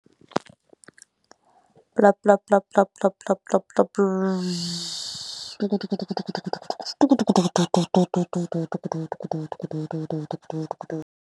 .